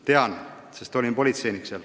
Tean seda, sest olin seal politseinik.